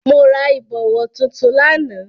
Mo ra ìbọ̀wọ̀ tuntun lánàá.